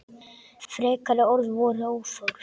Frekari orð voru óþörf.